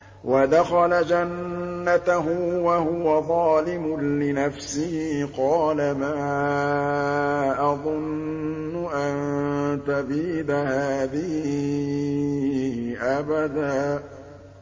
وَدَخَلَ جَنَّتَهُ وَهُوَ ظَالِمٌ لِّنَفْسِهِ قَالَ مَا أَظُنُّ أَن تَبِيدَ هَٰذِهِ أَبَدًا